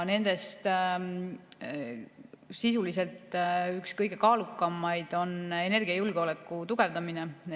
Nendest sisuliselt üks kõige kaalukamaid on energiajulgeoleku tugevdamine.